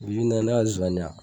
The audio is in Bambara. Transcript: Bi bi in na ne ka zonzannin wa